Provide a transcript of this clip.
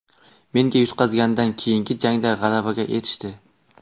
Menga yutqazganidan keyingi jangda g‘alabaga erishdi.